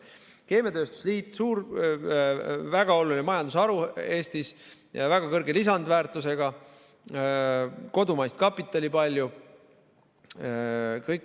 Keemiatööstus – suur, väga oluline majandusharu Eestis, väga suure lisandväärtusega, palju kodumaist kapitali.